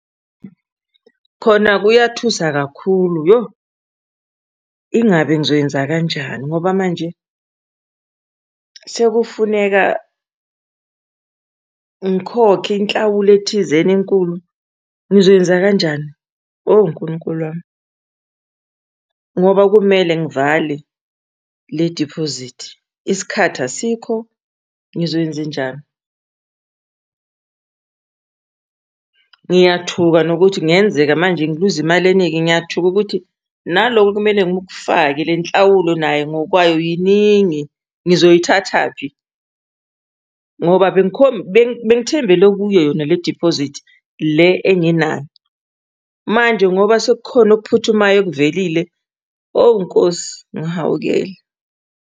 Khona kuyathusa kakhulu yoh! Ingabe ngizoyenza kanjani ngoba manje sekufuneka ngikhokhe inhlawulo ethizeni enkulu, ngizoyenza kanjani? Oh, Nkulunkulu wami, ngoba kumele ngivale le-deposit, isikhathi asikho, ngizoyenzenjani? Ngiyathuka nokuthi kungenzeka manje ngiluze imali eningi, ngiyathuka ukuthi nalokho ekumele ngikufake, le nhlawulo nayo ngokwayo yiningi, ngizoyithathaphi? Ngoba bengithembele kuyo yona le-deposit le enginayo, manje ngoba sekukhona okuphuthumayo okuvelile, oh Nkosi, ngihawukele.